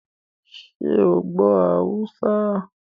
Ṣé o gbọ́ Haúsá?